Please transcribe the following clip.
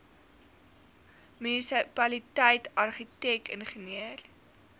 munisipaliteit argitek ingenieur